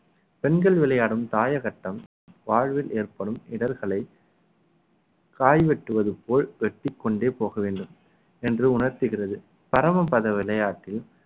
பெண்கள் விளையாடும் தாயக்கட்டம் வாழ்வில் ஏற்படும் இடர்களை காய் வெட்டுவது போல் வெட்டிக் கொண்டே போக வேண்டும் என்று உணர்த்துகிறது பரமபத விளையாட்டில்